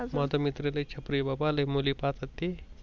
माझ मित्र लई छपरी आहे बाबा लई मुली पाहतात ते.